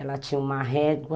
Ela tinha uma régua,